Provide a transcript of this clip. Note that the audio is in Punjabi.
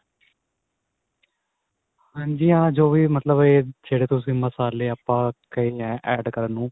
ਹਾਂਜੀ ਹਾਂ ਜੋ ਵੀ ਮਤਲਬ ਇਹ ਜਿਹੜੇ ਤੁਸੀਂ ਮਸਾਲੇ ਆਪਾਂ ਕਹੇ ਏ add ਕਰਨ ਨੂੰ